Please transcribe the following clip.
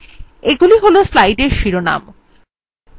এগুলি হল slide শিরোনাম